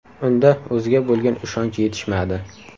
Unda o‘ziga bo‘lgan ishonch yetishmadi.